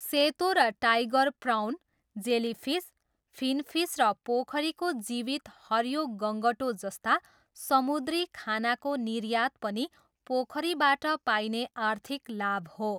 सेतो र tiger prawn, jellyfish, finfish र पोखरीको जीवित हरियो गँगटो जस्ता समुद्री खानाको निर्यात पनि पोखरीबाट पाइने आर्थिक लाभ हो।